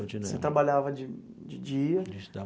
Você trabalhava de de dia?